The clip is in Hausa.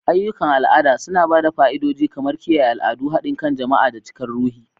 Ayyukan al'ada suna ba da fa'idodi kamar kiyaye al'adu, haɗin kan jama'a, da cikar ruhi.